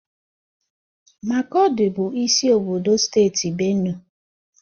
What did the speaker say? Makọdị bụ isi obodo steeti Benue.